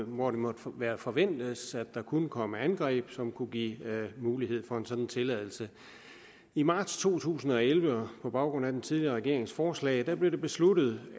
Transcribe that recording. måtte måtte forventes at der kunne komme angreb som kunne give mulighed for en sådan tilladelse i marts to tusind og elleve og på baggrund af den tidligere regerings forslag blev det besluttet